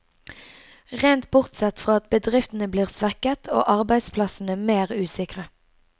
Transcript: Rent bortsett fra at bedriftene blir svekket, og arbeidsplassene mer usikre.